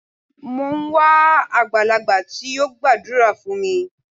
Mò ń wá àgbàlagbà tí yóò gbàdúrà fún mi.